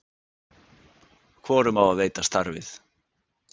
Hvorum á að veita starfið?